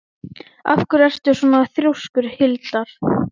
Díómedes, hvað geturðu sagt mér um veðrið?